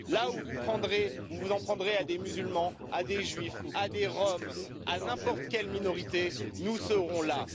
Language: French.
Là où vous vous en prendrez à des musulmans, à des Juifs, à des Roms, à n'importe quelle minorité, nous serons là.